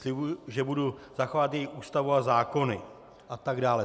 Slibuji, že budu zachovávat její Ústavu a zákony... a tak dále.